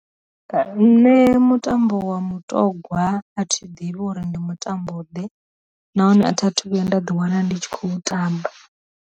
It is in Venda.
Nṋe mutambo wa mutogwa athi ḓivhi uri ndi mutambo ḓe, nahone a tha thu vhuya nda ḓi wana ndi tshi khou tamba.